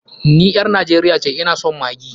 Ni ƴar Najeriya ce, ina son maggi.